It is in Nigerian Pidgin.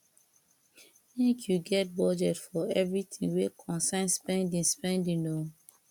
mek yu get budget for evritin wey concern spending spending o